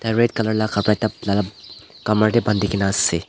tai red colour la kapra ekta kamar dae bandikena ase.